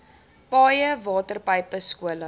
paaie waterpype skole